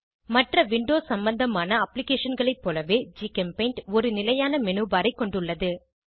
மற்ற விண்டோ சம்மந்தமான அப்ளிகேஷன்களை போலவே ஜிகெம்பெய்ண்ட் ஒரு நிலையான menu பார் ஐ கொண்டுள்ளது